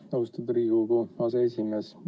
Aitäh, austatud Riigikogu aseesimees!